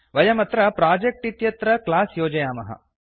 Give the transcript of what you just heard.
वयमत्र प्रोजेक्ट् इत्यत्र क्लास् योजयामः